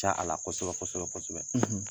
Diya a la kosɛbɛ kosɛbɛ kosɛbɛ,